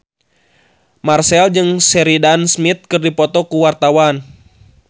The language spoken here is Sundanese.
Marchell jeung Sheridan Smith keur dipoto ku wartawan